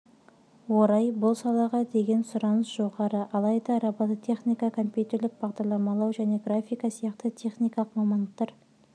орай бұл салаға деген сұраныс жоғары алайда робототехника компьютерлік бағдарламалау және графика сияқты техникалық мамандықтар